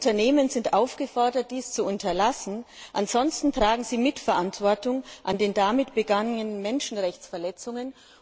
Die Unternehmen sind aufgefordert, dies zu unterlassen, ansonsten tragen sie Mitverantwortung an den damit begangenen Menschenrechtsverletzungen.